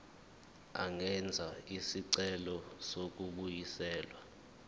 angenza isicelo sokubuyiselwa